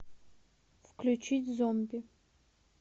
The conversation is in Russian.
включить зомби